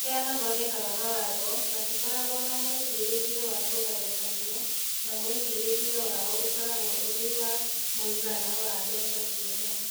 Arĩa mathondekaga mawatho matikoragwo na mwĩcirĩrie wa 'kũgayũkanio', no mwĩcirĩrie wao ũkoragwo ũrĩ wa 'mũigana wa mbeca ciothe'.